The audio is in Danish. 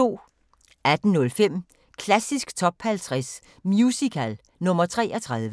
18:05: Klassisk Top 50 Musical – nr. 33